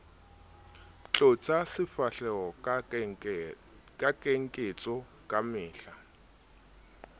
tlotsa sefahleho ka keketso kamehla